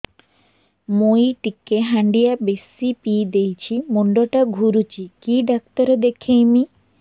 ମୁଇ ଟିକେ ହାଣ୍ଡିଆ ବେଶି ପିଇ ଦେଇଛି ମୁଣ୍ଡ ଟା ଘୁରୁଚି କି ଡାକ୍ତର ଦେଖେଇମି